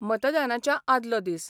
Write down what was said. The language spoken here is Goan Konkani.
मतदानाच्या आदलो दीस.